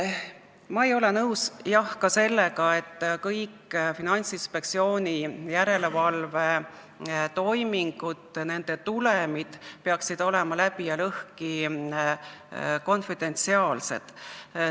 Ma ei ole nõus, jah, ka sellega, et kõik Finantsinspektsiooni järelevalvetoimingute tulemid peaksid olema läbi ja lõhki konfidentsiaalsed.